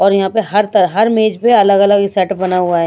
और यहाँ पे हर तरह हर मेज पे अलग-अलग सेट बना हुआ है।